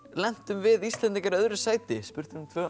lentum við Íslendingar í öðru sæti spurt er um tvö